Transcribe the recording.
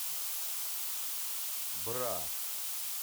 бра